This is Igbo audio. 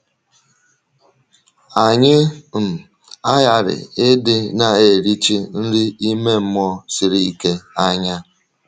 Anyị um aghàrị ịdị na-erìchì nri ime mmụọ siri ike anya.